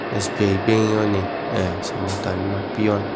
sbi bank yoni samong tanima peon.